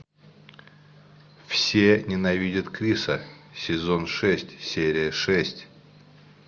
все ненавидят криса сезон шесть серия шесть